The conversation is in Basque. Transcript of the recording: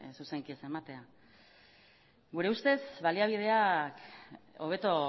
zuzenki ez ematea gure ustez baliabideak hobeto